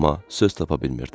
Amma söz tapa bilmirdi.